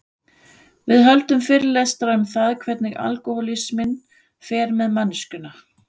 Við höldum fyrirlestra um það hvernig alkohólisminn fer með manneskjuna.